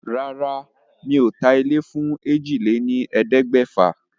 Rárá, mi ò ta ilé fún èjì lé ní ẹ̀ẹ́dẹ́gbẹ̀fà.